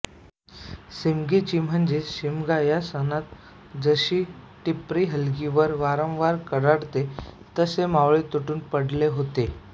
सिमगीयाची म्हणजे शिमगा या सणात जशी टिपरी हलगीवर वारंवार कडाडते तसे मावळे तुटून पडले होते